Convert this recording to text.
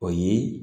O ye